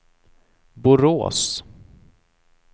Borås